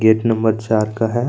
Gate number चार का है।